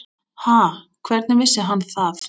Ha, hvernig vissi hann það?